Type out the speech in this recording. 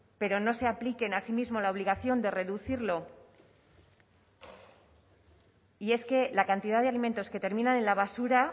pero no se apliquen a sí mismos la obligación de reducirlo y es que la cantidad de alimentos que terminan en la basura